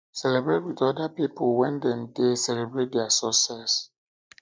celebrate with oda pipo when dem dey um celebrate their success